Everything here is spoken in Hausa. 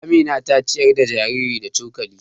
Amina ta ciyar da jariri da cokali.